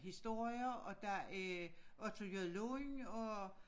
Historier og der er Otto J Lund